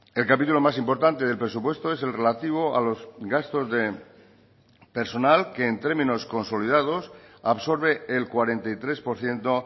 el capítulo más importante del presupuesto es el relativo a los gastos de personal que en términos consolidados absorbe el cuarenta y tres por ciento